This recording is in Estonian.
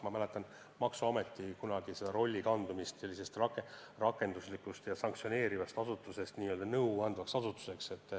Ma mäletan seda, kui maksuameti roll muutus: kunagine rakenduslik ja sanktsioneeriv asutus muutus ka nõu andvaks asutuseks.